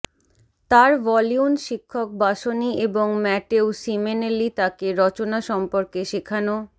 তার ভলিউন শিক্ষক বাসনি এবং ম্যাটেও সিমেনেলি তাকে রচনা সম্পর্কে শেখানো